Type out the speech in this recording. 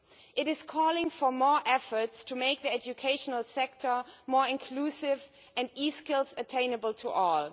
It calls for more efforts to make the educational sector more inclusive and e skills attainable to all.